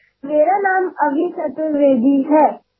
माझे नाव अभी चतुर्वेदी आहे